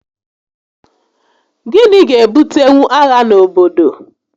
Gịnị ga-ebutenwu agha n'obodo?